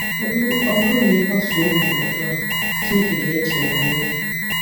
Ọ bụrụ na ị gbasoo ndụmọdụ ahụ, Chineke ga-eche banyere gị.